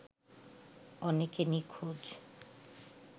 অনেকে নিখোঁজ